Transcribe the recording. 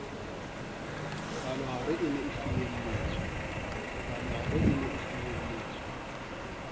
palohare e ne e finyelletswe